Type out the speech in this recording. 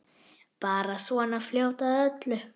Bara svona fljót að öllu.